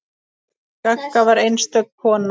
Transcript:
Gagga var einstök kona.